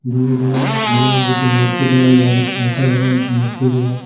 बड़े बड़े भगवान जी की मूर्ति लगाया गया इधर शंकर भगवान की मूर्ति भी है।